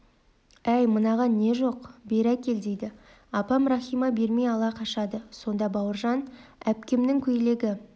әй мынаған не жоқ бері әкел дейді апам рахима бермей ала қашады сонда бауыржан әпкемнің көйлегі